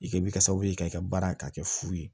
I kɛ bɛ kɛ sababu ye k'i ka baara ka kɛ fu ye